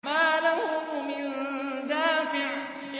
مَّا لَهُ مِن دَافِعٍ